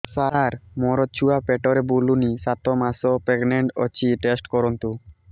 ସାର ମୋର ଛୁଆ ପେଟରେ ବୁଲୁନି ସାତ ମାସ ପ୍ରେଗନାଂଟ ଅଛି ଟେଷ୍ଟ କରନ୍ତୁ